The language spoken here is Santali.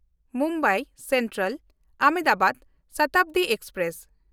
ᱢᱩᱢᱵᱟᱭ ᱥᱮᱱᱴᱨᱟᱞ–ᱟᱦᱚᱢᱫᱟᱵᱟᱫ ᱥᱚᱛᱟᱵᱫᱤ ᱮᱠᱥᱯᱨᱮᱥ